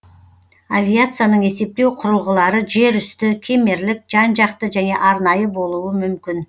авиацияның есептеу кұрылғылары жер үсті кемерлік жан жақты және арнайы болуы мүмкін